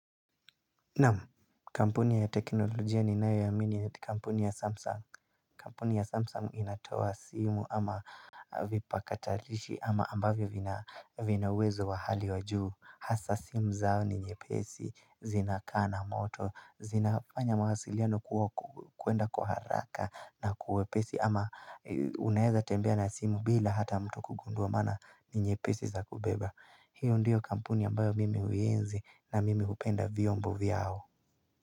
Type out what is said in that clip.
Naam, Kampuni ya teknolojia ninayo yaamini ya kampuni ya samsung Kampuni ya samsung inatoa simu ama Vipakatalishi ama ambavyo vinauwezo wa hali wa juu Hasa simu zao ni nyepesi, zinakaa na moto, zinafanya mawasiliano kuenda kwa haraka na kwa uwepesi ama Unaeza tembea na simu bila hata mtu kugundua maana ni nyepesi za kubeba hiyo ndiyo kampuni ambayo mimi huienzi na mimi hupenda viombo vyao.